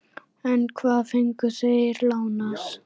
En hvað fengu þeir lánað?